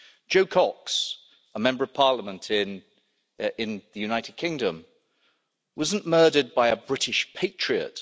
Jo Cox, a Member of Parliament in the United Kingdom, was not murdered by a British patriot.